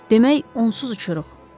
Demək, onsuz uçuruq.